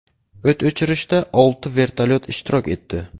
O‘t o‘chirishda olti vertolyot ishtirok etdi.